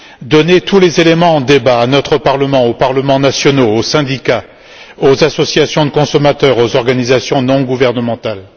Donnez tous les éléments en débat à notre Parlement, aux parlements nationaux, aux syndicats, aux associations de consommateurs, aux organisations non gouvernementales.